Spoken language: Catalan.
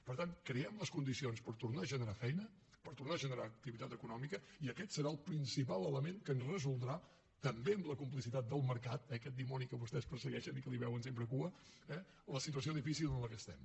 per tant creem les condicions per tornar a generar feina per tornar a generar activitat econòmica i aquest serà el principal element que ens resoldrà també amb la complicitat del mercat eh aquest dimoni que vostès persegueixen i que li veuen sempre cua eh la situació difícil en què estem